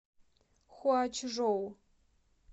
хуачжоу